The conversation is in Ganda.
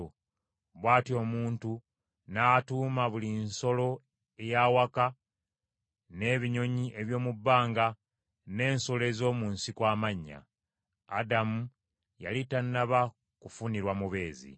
Bw’atyo omuntu n’atuuma buli nsolo ey’awaka, n’ebinyonyi eby’omu bbanga n’ensolo ez’omu nsiko amannya. Adamu yali tannaba kufunirwa mubeezi.